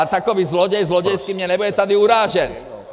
A takový zloděj zlodějský mě nebude tady urážet!